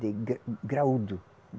De gra graúdo.